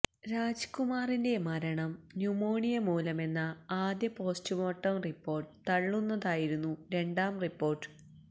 രാജ് കുമാറിന്റെ മരണം ന്യൂമോണിയ മൂലമെന്ന ആദ്യ പോസ്റ്റുമോർട്ടം റിപ്പോർട്ട് തള്ളുന്നതായിരുന്നു രണ്ടാം റിപ്പോർട്ട്